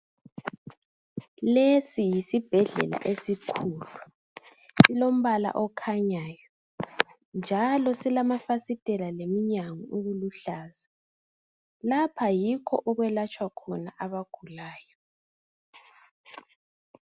Lesi yisibhedlela esikhulu silombala okhanyayo njalo silamafasiteli lemnyango okuluhlaza, lapha yikho okwelatshwa khona abagulayo.